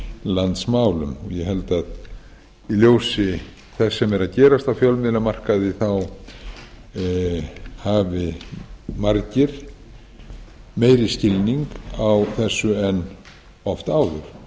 landsmálum ég held að í ljósi þess sem er að gerast á fjölmiðlamarkaði þá hafi margir meiri skilning á þessu en oft áður